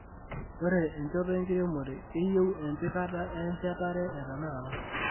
Ore enchoto enkiremore keyieu empikete e chatare etenakata.